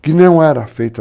Que não era feita.